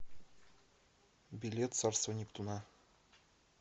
билет царство нептуна